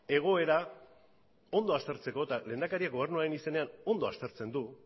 egoera ondo aztertzeko eta lehendakariak gobernuaren izenean ondo aztertzen du